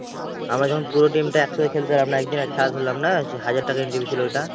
আমরা যখন পুরো team টা একসঙ্গে খেলতে নামলাম, একদিনের খেলা ধরলাম না? হাজার টাকা entry fee ছিল ঐটা?